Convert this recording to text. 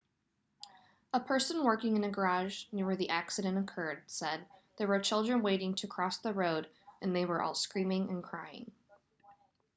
a person working in a garage near where the accident occurred said there were children waiting to cross the road and they were all screaming and crying